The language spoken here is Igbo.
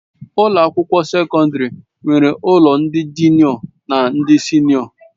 Ụlọ akwụkwọ sekọndrị nwere ụlọ ndị jụnịọ na ndị sịnịọ